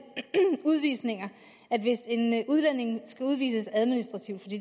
udvisninger at hvis en udlænding skal udvises administrativt